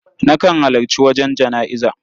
Nakan halarci wajen jana'iza.